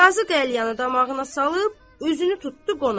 Qazı qəlyanı damağına salıb üzünü tutdu qonağa.